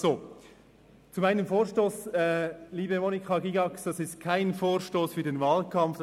Zu meinem Vorstoss: Liebe Grossrätin Gygax, dies ist kein Vorstoss für den Wahlkampf.